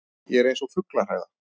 Ég er eins og fuglahræða.